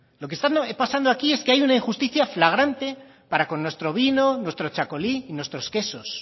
lo que está pasando aquí es que hay una injusticia flagrante para con nuestro vino nuestro txakoli y nuestro quesos